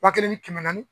Wa kelen ni kɛmɛ naani